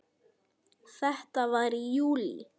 Þetta var í júlí.